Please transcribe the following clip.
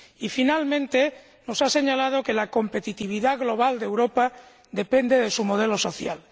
y, finalmente, nos ha señalado que la competitividad global de Europa depende de su modelo social.